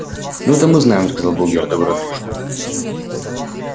ну это мы знаем сказал богерт добродушно